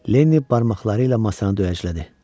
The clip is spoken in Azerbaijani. Lenni barmaqları ilə masanı döyəclədi.